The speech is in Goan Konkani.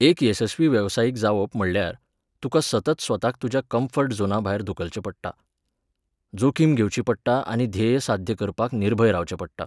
एक येसस्वी वेवसायीक जावप म्हणल्यार, तुका सतत स्वताक तुज्या कम्फर्ट झोनाभायर धुकलचें पडटा, जोखीम घेवची पडटा आनी ध्येय साध्य करपाक निर्भय रावचें पडटा.